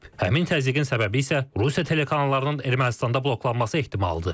Həmin təzyiqin səbəbi isə Rusiya telekanallarının Ermənistanda bloklanması ehtimalıdır.